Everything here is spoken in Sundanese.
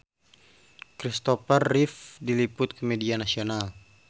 Kristopher Reeve diliput ku media nasional